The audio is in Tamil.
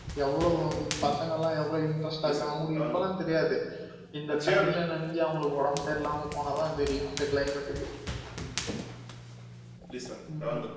எவ்வோளவு பசங்க லாம் எவ்ளோ interest ஆ இருக்குறாங்க அவங்களுக்கு இப்பலாம் தெரியாது இந்த தண்ணி ல நனஞ்சி அவங்களுக்கு ஒடம்பு சரி இல்லாம போனா தான் தெரியும் இந்த climate கு உம் உம்